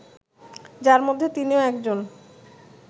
যার মধ্যে তিনিও একজন